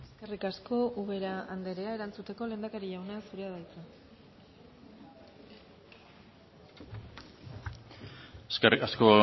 eskerrik asko ubera andrea erantzuteko lehendakari jauna zurea da hitza eskerrik asko